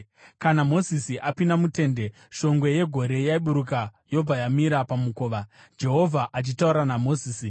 Kana Mozisi apinda mutende, shongwe yegore yaiburuka yobva yamira pamukova, Jehovha achitaura naMozisi.